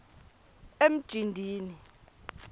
emjindini